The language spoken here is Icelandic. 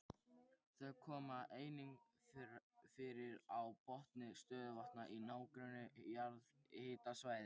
Þau koma einnig fyrir á botni stöðuvatna í nágrenni jarðhitasvæða.